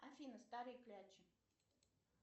афина старые клячи